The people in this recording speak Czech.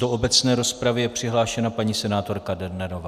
Do obecné rozpravy je přihlášena paní senátorka Dernerová.